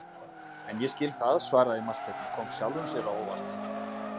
En ég skil það, svaraði Marteinn og kom sjálfum sér á óvart.